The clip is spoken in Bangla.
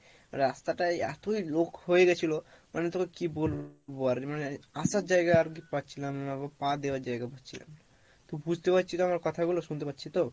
রাস্তা টাই এতোই লোক হয়ে গেছিলো মানে তোকে কি বলবো আর মানে আসার জায়গা আর পাচ্ছিলাম না, পা দেওয়ার জায়গা পাচ্ছিলাম না তো বুঝতে পারছিস আমার কথা গুলো? শুনতে পাচ্ছিস তো?